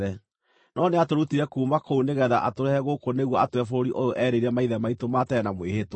No nĩatũrutire kuuma kũu nĩgeetha atũrehe gũkũ nĩguo atũhe bũrũri ũyũ eerĩire maithe maitũ ma tene na mwĩhĩtwa.